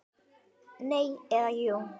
Nei. eða jú!